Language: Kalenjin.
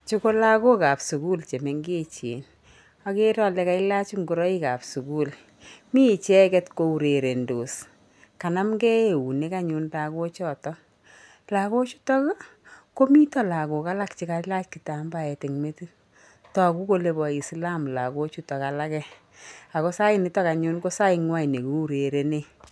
Chu ko lagokab sukul che mengechen, akere ale kailach ingoroikab sukul, mi icheket kourerentos, kanamkei eunek anyun lagochoto, lagochutok ii komitoi lagok alak che kailach kitambaet eng metit, toku kole bo Islam lagochuto alake ako sainitok anyun ko saingwai ne kiurerene.